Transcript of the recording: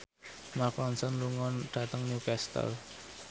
Mark Ronson lunga dhateng Newcastle